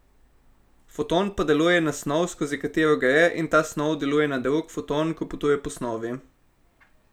Foton pa deluje na snov, skozi katero gre, in ta snov deluje na drug foton, ko potuje po snovi.